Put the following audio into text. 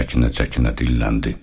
Çəkinə-çəkinə dilləndi.